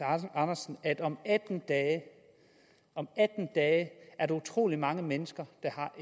andersen at om atten dage er der utrolig mange mennesker